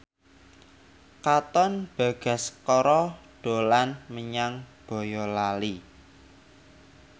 Katon Bagaskara dolan menyang Boyolali